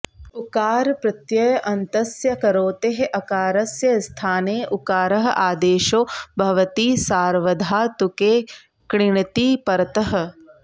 उकारप्रत्ययान्तस्य करोतेः अकारस्य स्थाने उकारः आदेशो भवति सार्वधातुके क्ङिति परतः